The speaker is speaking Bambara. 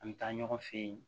An bɛ taa ɲɔgɔn fɛ yen